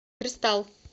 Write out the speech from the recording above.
кристалл